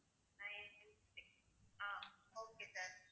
ninety-six ah okay sir